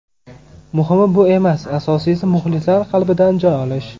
Muhimi bu emas, asosiysi muxlislar qalbidan joy olish.